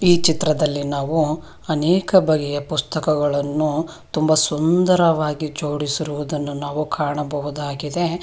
ಈ ಚಿತ್ರದಲ್ಲಿ ನಾವು ಅನೇಕ ಬಗೆಯ ಪುಸ್ತಕಗಳನ್ನು ತುಂಬ ಸುಂದರವಾಗಿ ಜೋಡಿಸಿರುವುದನ್ನು ನಾವು ಕಾಣಬಹುದಾಗಿದೆ.